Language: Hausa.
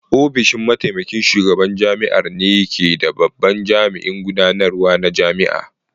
Ofishin Mataimakin Shugaban Jami'ar ne ke da babban jami'in gudanarwa na jami'a.